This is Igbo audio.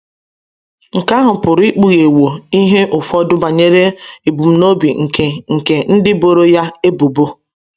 Nke ahụ pụrụ ikpughewo ihe ụfọdụ banyere ebumnobi nke nke ndị boro ya ebubo.